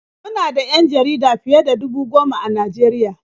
Mu na da 'yan jarida fiye da dubu goma a Najeriya.